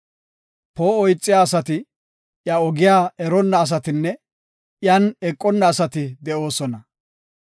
Poo7o ixiya asati, iya ogiya eronna asatinne; iyan eqona asati de7oosona.